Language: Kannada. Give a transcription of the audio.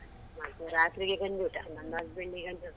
ಮತ್ತೆ ರಾತ್ರಿಗೆ ಗಂಜಿ ಊಟ ನನ್ನ husband ಗಂತೂ.